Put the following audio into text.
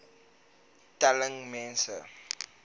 cd telling mense